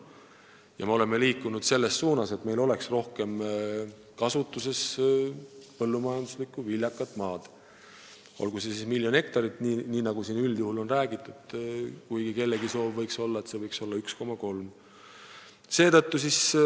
Ja me oleme liikunud selles suunas, et meil oleks rohkem kasutuses viljakat põllumajanduslikku maad, olgu miljon hektarit, nii nagu siin üldjuhul on räägitud, või 1,3 miljonit, kui kellelgi on soov, et seda võiks nii palju olla.